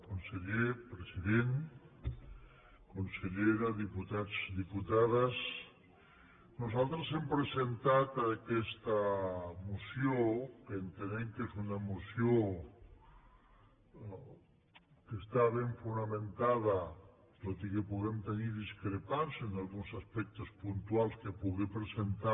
conseller president consellera diputats i diputades nosaltres hem presentat a aquesta moció que entenem que és una moció que està ben fonamentada tot i que puguem tenir discrepàncies en alguns aspectes puntuals que pugui presentar